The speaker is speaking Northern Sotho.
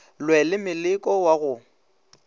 lwe le moleko wa go